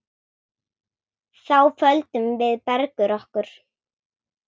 Þá földum við Bergur okkur.